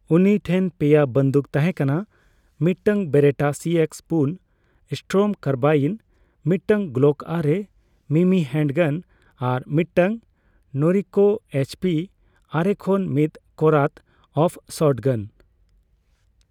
ᱩᱱᱤ ᱴᱷᱮᱱ ᱯᱮᱭᱟ ᱵᱟᱱᱫᱩᱠ ᱛᱟᱦᱮᱸ ᱠᱟᱱᱟ ᱺ ᱢᱤᱫᱴᱟᱝ ᱵᱮᱨᱮᱴᱟ ᱥᱤᱮᱠᱥ ᱯᱩᱱ ᱮᱥᱴᱚᱨᱚᱢ ᱠᱟᱨᱵᱟᱭᱤᱱ, ᱢᱤᱫᱴᱟᱝ ᱜᱞᱚᱠ ᱟᱨᱮ ᱢᱤᱢᱤ ᱦᱮᱱᱰᱜᱟᱱ ᱟᱨ ᱢᱤᱫᱴᱟᱝ ᱱᱚᱨᱤᱱᱠᱳ ᱮᱭᱤᱪᱯᱤ ᱟᱨᱮ ᱠᱷᱚᱱ ᱢᱤᱛ ᱠᱚᱨᱟᱛᱼᱟᱯᱷ ᱥᱚᱴᱜᱟᱱ ᱾